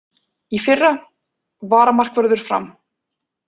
Í fyrra: Varamarkvörður Fram.